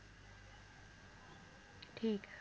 ਠੀਕ ਆ